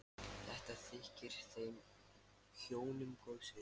Þetta þykir þeim hjónum góðs viti.